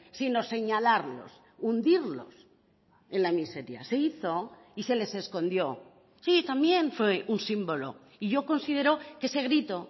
sino señalarlos hundirlos en la miseria se hizo y se les escondió sí también fue un símbolo y yo considero que ese grito